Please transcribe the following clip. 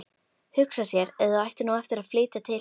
Hugsa sér ef þau ættu nú eftir að flytja til